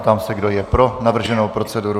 Ptám se, kdo je pro navrženou proceduru.